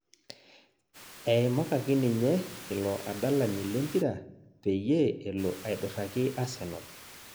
Aimakaki ninye ilo adalani le mpira peyie elo aiduraki asenal